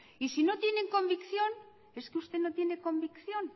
y si no tienen convicción es que usted no tiene convicción